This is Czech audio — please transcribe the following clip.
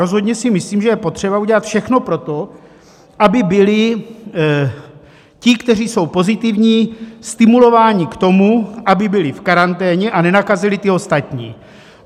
Rozhodně si myslím, že je potřeba udělat všechno pro to, aby byli ti, kteří jsou pozitivní, stimulováni k tomu, aby byli v karanténě a nenakazili ty ostatní.